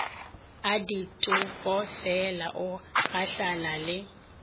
a ditokofela o gahlana le